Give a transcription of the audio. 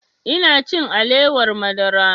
Ina cin alewar madara